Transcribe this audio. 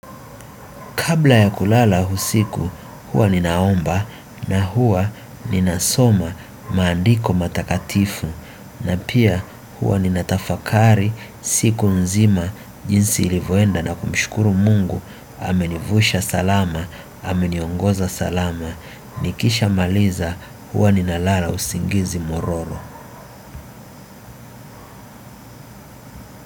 Kabla ya kulala usiku huwa ninaomba na huwa ninasoma maandiko matakatifu na pia huwa nina tafakari siku nzima jinsi ilivoenda na kumshukuru Mungu amenivusha salama ameniongoza salama nikisha maliza huwa ninalala usingizi mororo.